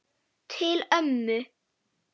Til ömmu.